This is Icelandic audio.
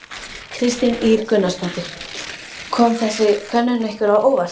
Kristín Ýr Gunnarsdóttir: Kom þessi könnun ykkur á óvart?